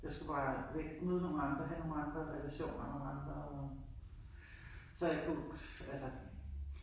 Jeg skulle bare væk. Møde nogle andre, have nogle andre relationer, nogle andre så jeg kunne altså